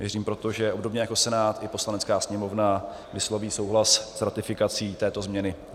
Věřím proto, že obdobně jako Senát, i Poslanecká sněmovna vysloví souhlas s ratifikací této změny.